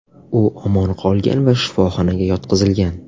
U omon qolgan va shifoxonaga yotqizilgan.